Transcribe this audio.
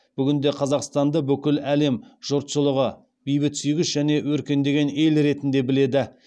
бүгінде қазақстанды бүкіл әлем жұртшылығы бейбітсүйгіш және өркендеген ел ретінде біледі